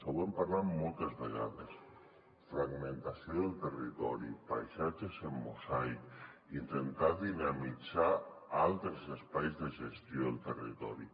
ho hem parlat moltes vegades fragmentació del territori paisatges en mosaic intentar dinamitzar altres espais de gestió del territori